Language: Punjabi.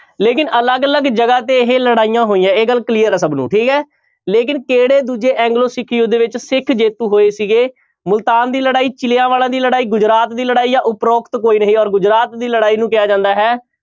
ਲੇਕਿੰਨ ਅਲਗ ਅਲਗ ਜਗ੍ਹਾ ਤੇ ਇਹ ਲੜਾਈਆਂ ਹੋਈਆਂ ਇਹ ਗੱਲ clear ਹੈ ਸਭ ਨੂੰ ਠੀਕ ਹੈ, ਲੇਕਿੰਨ ਕਿਹੜੇ ਦੂਜੇ ਐਗਲੋ ਸਿੱਖ ਯੁੱਧ ਵਿੱਚ ਸਿੱਖ ਜੇਤੂ ਹੋਏ ਸੀਗੇ ਮੁਲਤਾਨ ਦੀ ਲੜਾਈ, ਚਿਲਿਆਂਵਾਲਾਂ ਦੀ ਲੜਾਈ, ਗੁਜਰਾਤ ਦੀ ਲੜਾਈ ਜਾਂ ਉਪਰੋਕਤ ਕੋਈ ਨਹੀਂ ਔਰ ਗੁਜਰਾਤ ਦੀ ਲੜਾਈ ਨੂੰ ਕਿਹਾ ਜਾਂਦਾ ਹੈ,